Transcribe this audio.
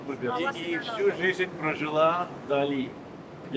Və bütün ömrünüzü keçirmisiniz Gəncə.